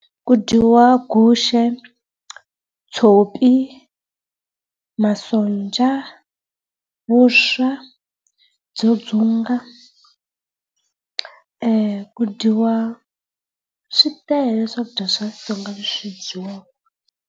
Ku dyiwa guxe, tshopi, masonja, vuswa byo dzunga ku dyiwa, switele swakudya swa Xitsonga leswi dyiwaka.